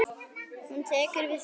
Hún tekur við því.